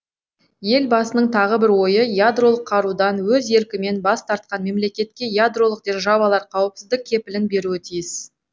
елбасының тағы бір ойы ядролық қарудан өз еркімен бас тартқан мемлекетке ядролық державалар қауіпсіздік кепілін беруі тиіс